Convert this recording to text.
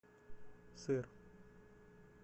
сыр